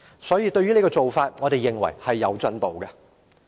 所以，對於這做法，我們認為是有進步的。